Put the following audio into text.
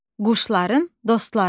Quşların dostları.